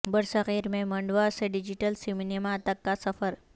برصغیر میں منڈوا سے ڈیجیٹل سینما تک کا سفر